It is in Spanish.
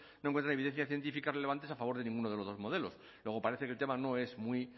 no encuentran evidencias científicas relevantes a favor de ninguno de los dos modelos luego parece que el tema no es muy